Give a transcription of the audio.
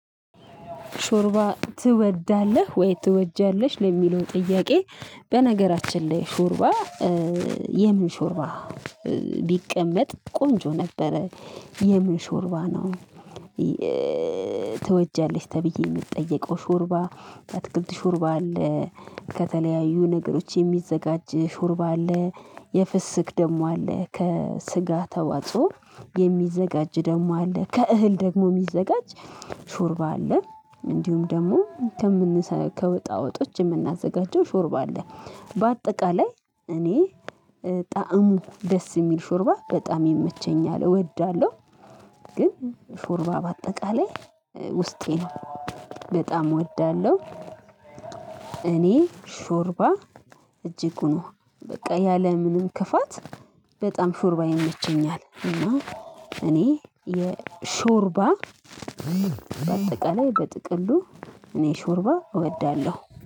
ሾርባ ትወዳለህ ወይ ትወጃለሽ ለሚለው ጥያቄ። በነገራችን ላይ ሾርባ የምን ሾርባ ቢቀመጥ ቆንጆ ነበረ የምን ሽርባ ነው። ትወጃለሽ ተብዬ የምጠየቀው ሾርባ አትክልት ሾርባ አለ። ከተለያዩ ነገሮች የሚዘጋጅ ሾርባ አለ። የፍስክ ደሞ አለ ከስጋ ተዋጽኦ የሚዘጋጅ ደግሞ አለ ከእህል ደግሞ የሚዘጋጅ ሹርባ አለ። እንዲሁም ደግሞ ከምንሰራ ከወጣ ወጦች የምናዘጋጀው ሾርባ አለ። በአጠቃላይ እኔ ጣዕሙ ደስ የሚል ሾርባ በጣም ይመቸኛል እወዳለሁ። ግን ሾርባ በአጠቃላይ ውስጤ ነው በጣም እወዳለሁ። እኔ ሾርባ እጅጉ ነው በቃ ያለምንም ክፋት በጣም ሾርባ ይመቸኛል። እና እኔ የሾርባ በአጠቃላይ በጥቅሉ እኔ ሾርባ እወዳለሁ